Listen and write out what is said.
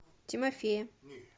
тимофея